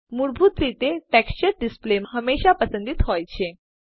મૂળભૂત રીતે texture display હમેશા પસંદિત હોય છે